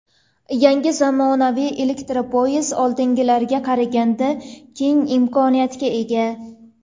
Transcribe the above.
Yangi zamonaviy elektropoyezd oldingilariga qaraganda keng imkoniyatga ega.